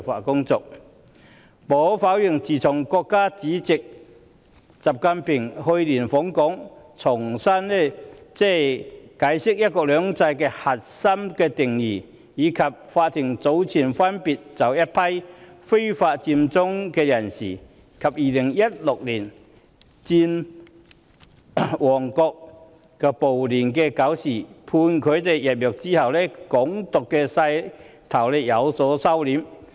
無可否認，自從國家主席習近平去年訪港，重新解釋"一國兩制"的核心定義，以及法庭早前分別把一批非法佔中人士及2016年佔旺暴亂的搞事者判處入獄後，"港獨"勢頭已有所收斂。